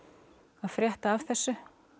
að frétta af þessu